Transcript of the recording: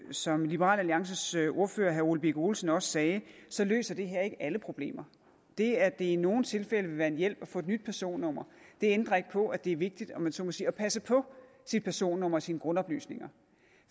som liberal alliances ordfører herre ole birk olesen også sagde så løser det her ikke alle problemer det at det i nogle tilfælde vil være en hjælp at få et nyt personnummer ændrer ikke på at det er vigtigt om man så må sige at passe på sit personnummer og sine grundoplysninger